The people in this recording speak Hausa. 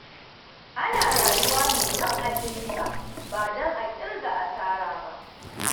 Ana rayuwa ne don a ci riba ba don a ƙirga asara ba.